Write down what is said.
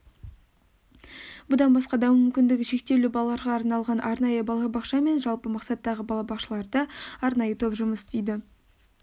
бұдан басқа даму мүмкіндігі шектеулі балаларға арналған арнайы балабақша мен жалпы мақсаттағы балабақшаларда арнайы топ жұмыс істейді